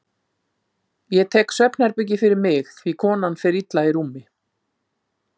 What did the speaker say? Ég tek svefnherbergið fyrir mig því konan fer illa í rúmi.